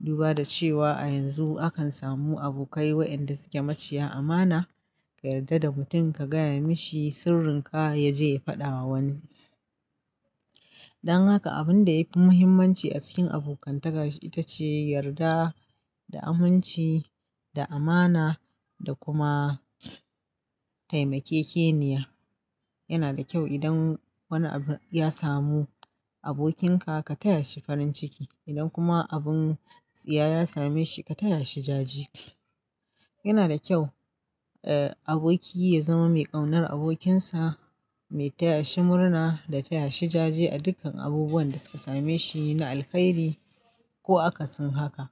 Duba da cewa a yanzu akan samu abokai wayanda suke maciya amana, ka yarda da mutum ka gaya mishi sirrinka ya je ya faɗa wa wani. Dan haka abun da yafi muhimmanci a cikin abokantaka ita ce yarda da aminci, da amana da kuma taimakekeniya. Yana da kyau idan wani abu ya samu abokinka ka taya shi farin ciki, idan kuma abun tsiya ya same shi ka taya shi jaje. Yana da kyau, eh, aboki ya zama mai ƙaunar abokinsa, mai taya shi murna da taya shi jaje a dukkan abubuwan da suka same shi, na alkhairi ko akasin haka.